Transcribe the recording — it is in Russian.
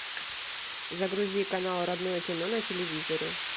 загрузи канал родное кино на телевизоре